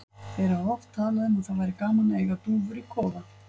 Þeir hafa oft talað um að það væri gaman að eiga dúfur í kofa.